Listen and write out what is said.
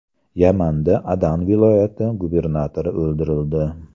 Yamanda Adan viloyati gubernatori o‘ldirildi.